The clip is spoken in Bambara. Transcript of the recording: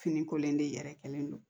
Fini kolen de yɛrɛ kɛlen don